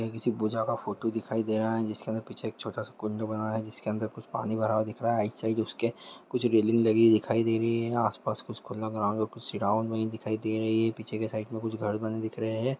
ये किसी पूजा का फोटो दिखाई दे रहा है जिसके अंदर पीछे छोटा सा कुंड बना है जिसके अंदर कुछ पानी भर दिख रहा है राइट साइड उसके कुछ रेलिंग दिखाई दे रही है आस-पास खुला ग्राउन्ड है पीछे के साइड मे कुछ घर बने दिख रहे है।